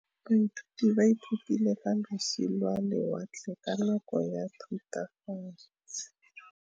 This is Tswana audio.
Baithuti ba ithutile ka losi lwa lewatle ka nako ya Thutafatshe.